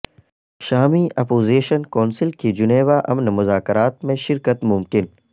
شامی opposition council کی Geneva امن مذاکرات میں شرکت ممکن